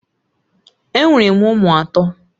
Enwere m ụmụ atọ